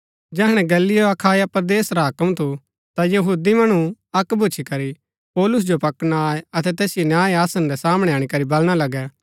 जैहणै गल्लियो अखाया परदेस रा हाक्म थु ता यहूदी मणु एक भूच्ची करी पौलुस जो पकडणा आये अतै तैसिओ न्याय आसन रै सामणै अणीकरी बलणा लगै